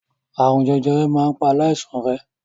Àrùn jẹjẹrẹ máa ń pa aláìsàn rẹ̀.